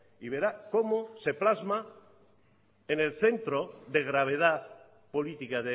y verá como se plasma en el centro de gravedad política